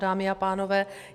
Dámy a pánové.